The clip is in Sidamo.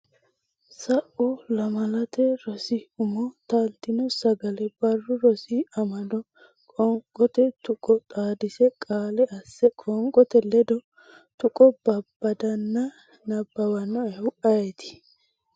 sau Lamalate Rosi Umo Taaltino Sagale Barru Rosi Amado qoonqote tuqqo xaadise qaale asse Qoonqote ledo tuqqo babbadanna nabbawannoehu ayeeti?